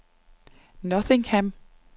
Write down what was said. Nottingham